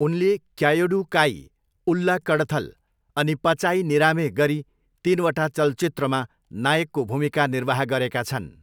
उनले क्यायोडु काई, उल्ला कडथल अनि पचाई निरामे गरी तिनवटा चलचित्रमा नायकको भूमिका निर्वाह गरेका छन्।